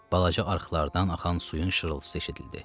Balaca arxlardan axan suyun şırıltısı eşidildi.